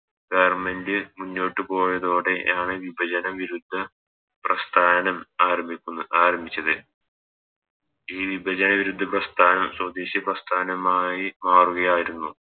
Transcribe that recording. Government മുന്നോട്ട് പോയതോടെയാണ് വിഭചന വിരുദ്ധ പ്രസ്ഥാനം ആരംഭിക്കുന്ന ആരംഭിച്ചത് ഈ വിഭജന വിരുദ്ധ പ്രസ്ഥാനം സ്വദേശിയ പ്രസ്ഥാനമായി മാറുകയായിരുന്നു